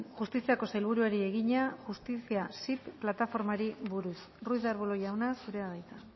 justiziako sailburuari egina justiziasip plataformari buruz ruiz de arbulo jauna zurea da hitza